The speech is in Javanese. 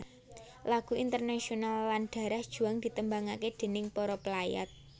Lagu Internationale lan Darah Juang ditembangaké déning para pelayat